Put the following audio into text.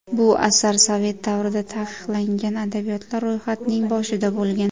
Bu asar sovet davrida taqiqlangan adabiyotlar ro‘yxatining boshida bo‘lgan.